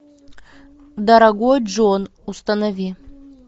дорогой джон установи